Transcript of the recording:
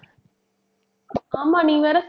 ஆமா, நீ வேற